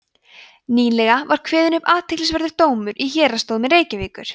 nýlega var kveðinn upp athyglisverður dómur í héraðsdómi reykjavíkur